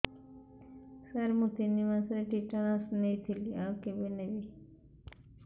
ସାର ମୁ ତିନି ମାସରେ ଟିଟାନସ ନେଇଥିଲି ଆଉ କେବେ ନେବି